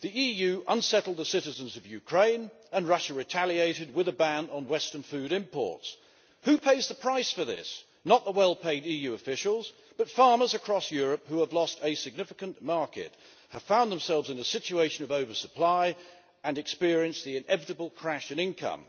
The EU unsettled the citizens of Ukraine and Russia retaliated with a ban on Western food imports. Who pays the price for this? Not the well paid EU officials but farmers across Europe, who have lost a significant market, have found themselves in a situation of oversupply, and experience the inevitable crash in income.